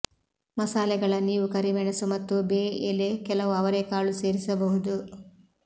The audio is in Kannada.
ಮಸಾಲೆಗಳ ನೀವು ಕರಿಮೆಣಸು ಮತ್ತು ಬೇ ಎಲೆ ಕೆಲವು ಅವರೆಕಾಳು ಸೇರಿಸಬಹುದು